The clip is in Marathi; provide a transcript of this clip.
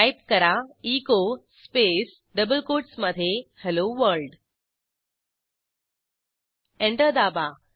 टाईप करा एचो स्पेस डबल कोटसमधे हेल्लो वर्ल्ड एंटर दाबा